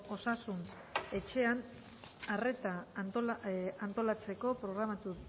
osasun etxean arreta antolatzeko programatu